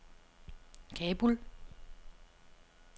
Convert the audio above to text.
Kabul